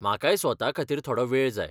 म्हाकाय स्वता खातीर थोडो वेळ जाय.